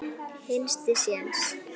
Hinsti sjens.